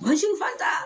fan t'a